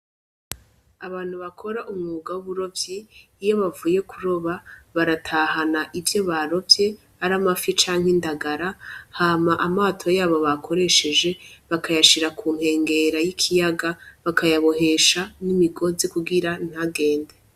Abantu bakora umwuga w'uburovyi iyo bavuye kuroba, baratahana ivyo barovye, ari amafi canke indagara, hama aamato yabo bakoresheje bakayashira ku nkengera y'ikiyaga, bakayabohesha n'imigozi kugira ntagende.